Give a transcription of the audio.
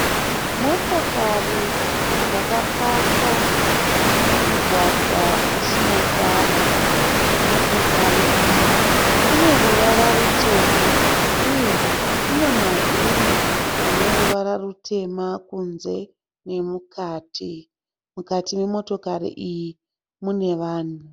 Motokari yakapaka mumugwagwa usina tara. Motokari iyi ine ruvara rutema, uye ine mavhiri aneruvara rutema kunze nemukati. Mukati memotokari iyi munevanhu.